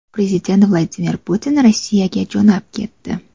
Prezident Vladimir Putin Rossiyaga jo‘nab ketdi.